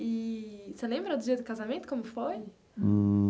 Eee você lembra do dia do casamento, como foi?